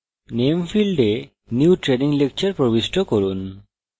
name ফীল্ডে new training lecture প্রবিষ্ট করুন